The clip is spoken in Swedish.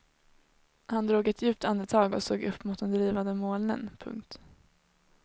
Han drog ett djupt andetag och såg upp mot de drivande molnen. punkt